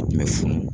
Kun bɛ funu